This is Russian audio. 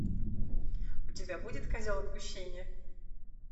у тебя будет козел отпущения